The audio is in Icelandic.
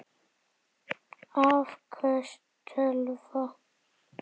Afköst tölva